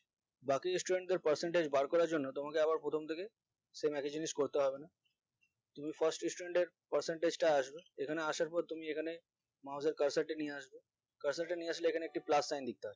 বাকি student দেড় percentage বার করার জন্য তোমাকে আবার প্রথম থেকে same একই জিনিস করতে হবে না তুমি first student এর percentage টা আসবে এখানে আসার পর তুমি এখানে mouse এর cursor টা নিয়ে আসবে cursor টা নিয়ে আসলে এখানে একটি plus sign দিতে হয়